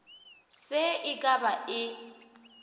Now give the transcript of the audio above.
se e ka ba e